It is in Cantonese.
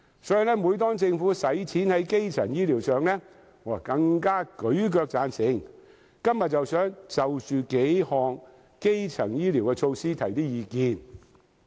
所以，每當政府用公帑在基層醫療上，我更會舉腳贊成，我今天想就着數項基層醫療措施提出一些意見。